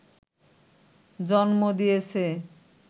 জন্ম দিয়েছে